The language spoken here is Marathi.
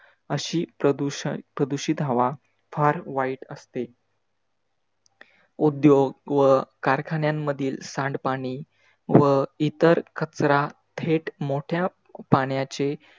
अशी प्रदूषप्रदूषित हवा फार वाईट असते. उद्योग व कारखान्यांमधील सांडपाणी व इतर कचरा थेट मोठ्या पाण्याचे